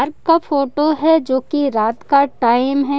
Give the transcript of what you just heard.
का फोटो है जो की रात का टाइम है।